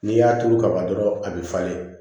N'i y'a turu kaban dɔrɔn a bɛ falen